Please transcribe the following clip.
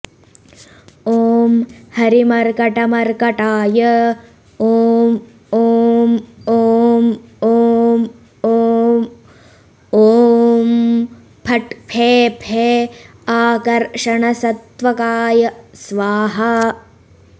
ॐ हरिमर्कटमर्कटाय ॐ ॐ ॐ ॐ ॐ ॐ फट् फे फे आकर्षणसत्वकाय स्वाहा